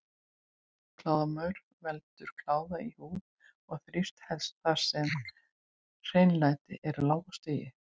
Kláðamaur veldur kláða í húð en þrífst helst þar sem hreinlæti er á lágu stigi.